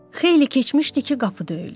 Xeyli keçmişdi ki, qapı döyüldü.